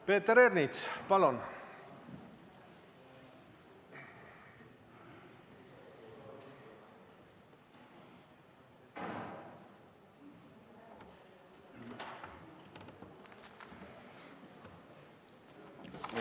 Peeter Ernits, palun!